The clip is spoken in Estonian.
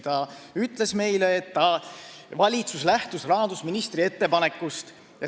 Ta ütles meile, et valitsus lähtus rahandusministri ettepanekust.